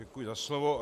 Děkuji za slovo.